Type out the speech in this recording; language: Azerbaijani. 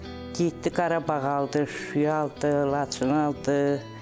Getdi Qarabağı aldı, Şuşanı aldı, Laçını aldı.